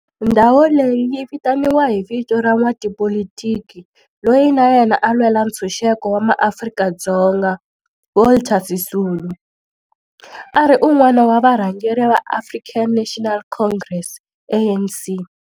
Ndhawo leyi yi vitaniwa hi vito ra n'watipolitiki loyi na yena a lwela ntshuxeko wa maAfrika-Dzonga Walter Sisulu, a ri wun'wana wa varhangeri va African National Congress, ANC.